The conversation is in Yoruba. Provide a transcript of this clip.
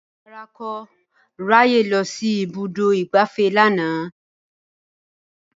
Rárá, n kò ráyè lọ sí ibùdó ìgbafẹ́ lánàá